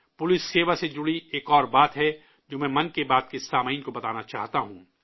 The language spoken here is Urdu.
پولیس سروس سے جڑی ایک اور بات ہے جو میں 'من کی بات' کے سامعین کو بتانا چاہتا ہوں